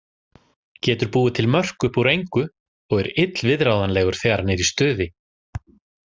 Getur búið til mörk upp úr engu og er illviðráðanlegur þegar hann er í stuði.